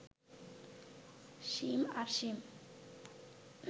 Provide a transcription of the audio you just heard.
সীম আর সীম